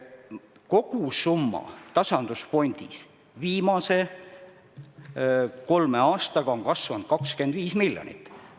Kogusumma on tasandusfondis viimase kolme aastaga kasvanud 25 miljonit eurot.